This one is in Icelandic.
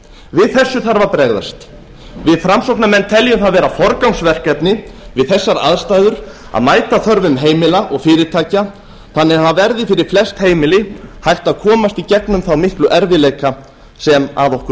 við þessu þarf að bregðast við framsóknarmenn teljum það vera forgangsverkefni við þessar aðstæður að mæta þörfum heimila og fyrirtækja þannig að það verði fyrir flest heimili hægt að komast í gegnum þá miklu erfiðleika sem að okkur